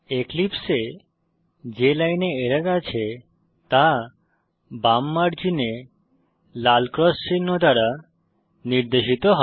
এক্লিপসে এ যে লাইনে এরর আছে তা বাম মার্জিনে লাল ক্রস চিহ্ন দ্বারা নির্দেশিত হবে